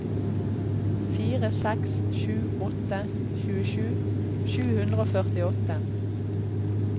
fire seks sju åtte tjuesju sju hundre og førtiåtte